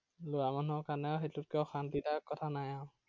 লৰা মানুহৰ কাৰণে সেইটোতকে অশান্তিৰ দায়ক কথা নাই আৰু।